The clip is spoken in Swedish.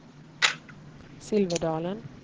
Silverdalen